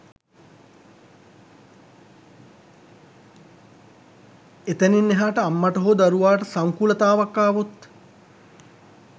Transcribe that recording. එතැනින් එහාට අම්මට හෝ දරුවාට සංකූලතාවයක් ආවොත්